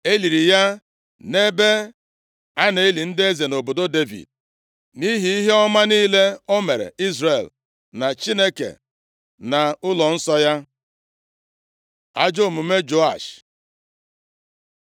E liri ya nʼebe a na-eli ndị eze nʼobodo Devid nʼihi ihe ọma niile o meere Izrel na Chineke na ụlọnsọ ya. Ajọọ omume Joash